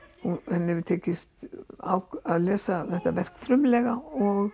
henni hefur tekist að lesa þetta verk frumlega og